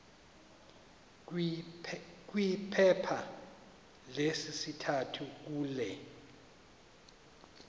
kwiphepha lesithathu kule